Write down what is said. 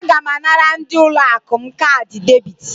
Aga m anara ndị ụlọ akụ m kaadị debit.